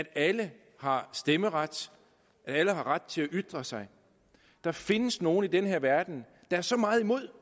alle har stemmeret og hvor alle har ret til at ytre sig der findes nogle i denne verden der er så meget imod